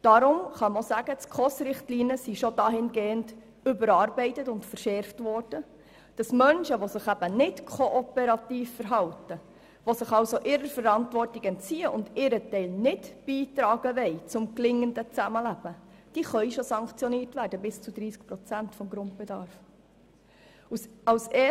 Deshalb kann man sagen, dass die SKOS-Richtlinien bereits dahingehend überarbeitet und verschärft sind, dass Menschen, die sich eben nicht kooperativ verhalten, die sich ihrer Verantwortung entziehen und ihren Teil zum Gelingen des Zusammenlebens nicht beitragen wollen, bereits mit einer Kürzung um bis zu 30 Prozent des Grundbedarfs sanktioniert werden können.